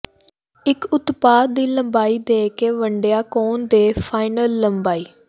ਇਕ ਉਤਪਾਦ ਦੀ ਲੰਬਾਈ ਦੇ ਕੇ ਵੰਡਿਆ ਕੋਣ ਦੇ ਫਾਈਨਲ ਲੰਬਾਈ